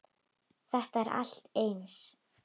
Þetta er allt eins!